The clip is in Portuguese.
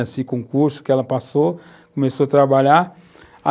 esse concurso que ela passou, começou a trabalhar.